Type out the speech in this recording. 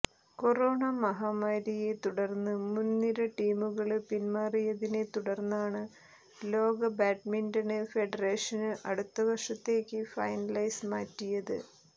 corona മഹാമാരിയെ തുടര്ന്ന് മുന് നിര ടീമുകള് പിന്മാറിയതിനെ തുടര്ന്നാണ് ലോക ബാഡ്മിന്റണ് ഫെഡറേഷന് അടുത്ത വര്ഷത്തേക്ക് ഫൈനല്സ് മാറ്റിയത്